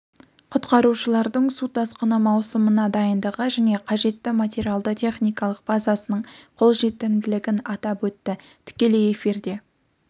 құтқарушылардың су тасқыны маусымына дайындығы және қажетті материалды техникалық базасының қолжетімділігін атап өтті тікелей эфирде